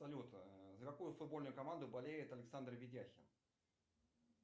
салют за какую футбольную команду болеет александр ведяхин